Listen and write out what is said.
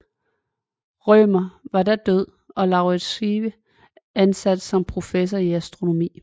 Rømer var da død og Lauritz Schive ansat som professor i astronomi